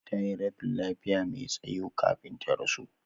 Tayi rashin lafiya me tsayo kafin ta rasu